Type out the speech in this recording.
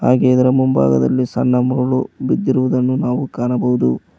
ಹಾಗೆ ಇದರ ಮುಂಭಾಗದಲ್ಲಿ ಸಣ್ಣ ಮುರುಳು ಬಿದ್ದಿರುದನ್ನು ನಾವು ಕಾಣಬಹುದು.